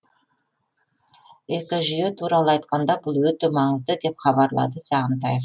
экожүйе туралы айтқанда бұл өте маңызды деп хабарлады сағынтаев